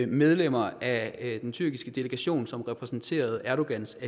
medlemmerne af den tyrkiske delegation som repræsenterede erdogans